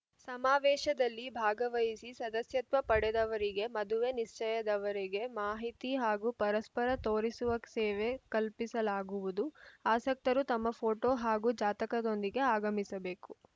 ಸಮಾವೇಶದಲ್ಲಿ ಭಾಗವಹಿಸಿ ಸದಸ್ಯತ್ವ ಪಡೆದವರಿಗೆ ಮದುವೆ ನಿಶ್ಚಯದವರೆಗೆ ಮಾಹಿತಿ ಹಾಗೂ ಪರಸ್ಪರ ತೋರಿಸುವ ಸೇವೆ ಕಲ್ಪಿಸಲಾಗುವುದು ಆಸಕ್ತರು ತಮ್ಮ ಫೋಟೋ ಹಾಗೂ ಜಾತಕದೊಂದಿಗೆ ಆಗಮಿಸಬೇಕು